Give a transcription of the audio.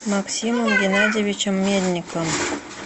максимом геннадьевичем мельником